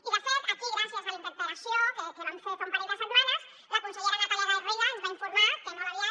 i de fet aquí gràcies a la interpel·lació que vam fer fa un parell de setmanes la consellera natàlia garriga ens va informar que molt aviat